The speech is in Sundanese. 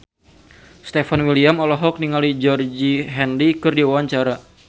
Stefan William olohok ningali Georgie Henley keur diwawancara